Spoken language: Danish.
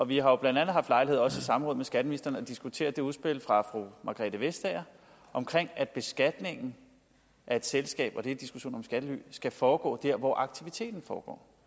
vi har blandt andet haft lejlighed til også i samråd med skatteministeren at diskutere udspillet fra fru margrethe vestager om at beskatningen af et selskab og det er en diskussion om skattely skal foregå dér hvor aktiviteten foregår når